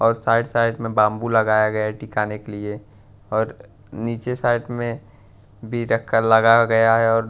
और side side में bamboo लगाया गया है टिकाने के लिए और नीचे साइड में भी रख कर लगा गया है और--